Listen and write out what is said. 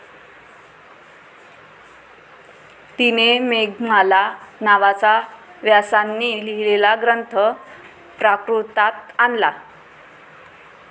तिने 'मेघमाला ' नावाचा व्यासांनी लिहिलेला ग्रंथ प्राकृतात आणला.